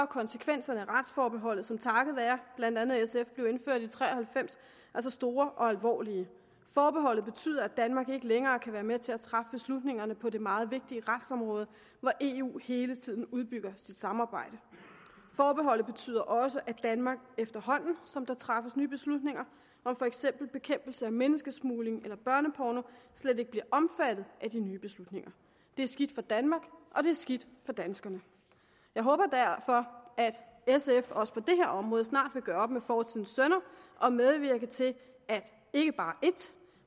konsekvenserne af retsforbeholdet som takket være blandt andet sf blev indført i nitten tre og halvfems altså store og alvorlige forbeholdet betyder at danmark ikke længere kan være med til at træffe beslutningerne på det meget vigtige retsområde hvor eu hele tiden udbygger sit samarbejde forbeholdet betyder også at danmark efterhånden som der træffes nye beslutninger om for eksempel bekæmpelse af menneskesmugling eller børneporno slet ikke bliver omfattet af de nye beslutninger det er skidt for danmark og det er skidt for danskerne jeg håber derfor at sf også på det her område snart vil gøre op med fortidens synder og medvirke til at ikke bare et